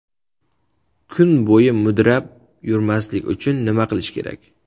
Kun bo‘yi mudrab yurmaslik uchun nima qilish kerak?